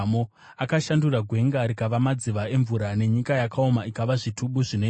Akashandura gwenga rikava madziva emvura, nenyika yakaoma ikava zvitubu zvinoerera;